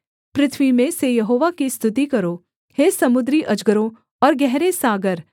पृथ्वी में से यहोवा की स्तुति करो हे समुद्री अजगरों और गहरे सागर